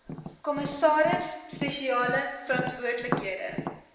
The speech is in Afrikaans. kommissaris spesiale verantwoordelikheid